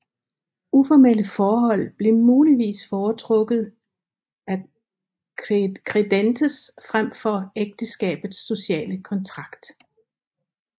Uformelle forhold blev muligvis foretrukket af credentes frem for ægteskabets sociale kontrakt